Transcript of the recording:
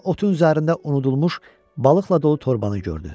Birdən otun üzərində unudulmuş balıqla dolu torbanı gördü.